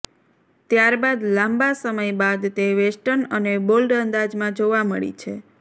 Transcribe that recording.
ત્યાર બાદ લાંબા સમય બાદ તે વેસ્ટર્ન અને બોલ્ડ અંદાજમાં જોવા મળી છે